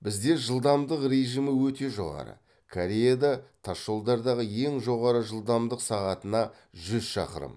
бізде жылдамдық режимі өте жоғары кореяда тасжолдардағы ең жоғары жылдамдық сағатына жүз шақырым